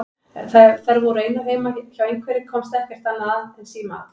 Ef þær voru einar heima hjá einhverri komst ekkert annað að en símaat.